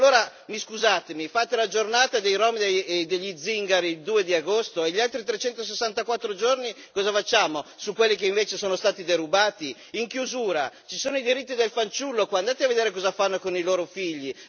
Allora, scusatemi, fate la giornata dei rom e degli zingari il 2 agosto e gli altri 364 giorni cosa facciamo, su quelli che invece sono stati derubati? In chiusura ci sono i diritti del fanciullo andate a vedere cosa fanno con i loro figli!